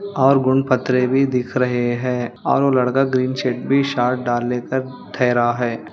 और पत्थरे भी दिख रहे है और वो लड़का ग्रीन डाल लेकर ठहरा है।